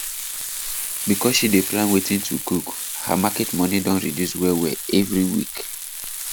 because she dey plan wetin to cook her market money don reduce wellwell every week